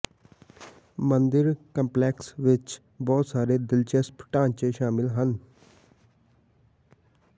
ਮੰਦਿਰ ਕੰਪਲੈਕਸ ਵਿਚ ਬਹੁਤ ਸਾਰੇ ਦਿਲਚਸਪ ਢਾਂਚੇ ਸ਼ਾਮਲ ਹਨ